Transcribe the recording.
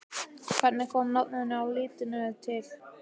Hvernig kom nafninu á liðinu til?